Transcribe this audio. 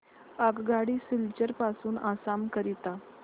आगगाडी सिलचर पासून आसाम करीता